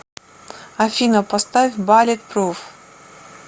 афина поставь баллетпруф